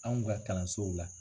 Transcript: Anw ka kalansow la.